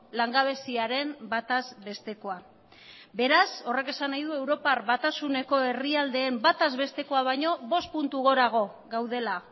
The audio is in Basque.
langabeziaren bataz bestekoa beraz horrek esan nahi du europar batasuneko herrialdeen bataz bestekoa baino bost puntu gorago gaudela